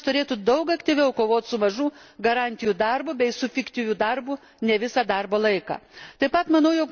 Taigi valstybės narės turėtų daug aktyviau kovoti su mažų garantijų darbu bei su fiktyviu darbu ne visą darbo laiką.